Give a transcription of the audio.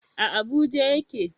A Abuja ya ke